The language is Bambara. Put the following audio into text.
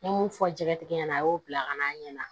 N ye mun fɔ jɛgɛtigi ɲɛna a y'o bila ka na ɲɛna